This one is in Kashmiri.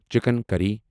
چِکن کری